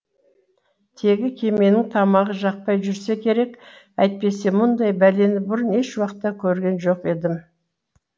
тегі кеменің тамағы жақпай жүрсе керек әйтпесе мұндай бәлені бұрын ешуақытта көрген жоқ едім